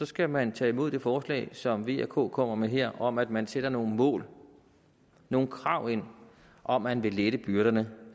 skal man tage imod det forslag som v og k kommer med her om at man sætter nogle mål nogle krav ind om at man vil lette byrderne